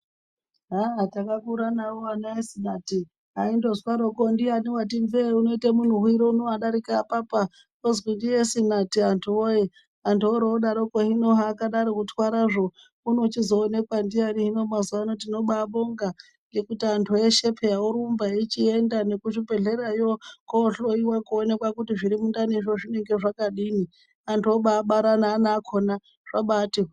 Haa takakura navo vana esinati aindozwaroko ndiyani vati mvee uno unoite munhuviro uno vadarika apa ozwi ndiesinati antu voye. Antu oro odaroko hino zvakadaroko kutwarazvo unochizooneka ndiyani hino mazuva ano tinobabonga ngekuti antu veshe peya vorumba. Eichienda nekuzvibhedhlerayo ohloiwa kuoneka kuti zviri mundanizvo zvinonga zvakadini. Antu obabara neana akona zvabati hwee.